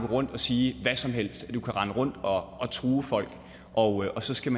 rundt og sige hvad som helst og at man kan rende rundt og true folk og at så skal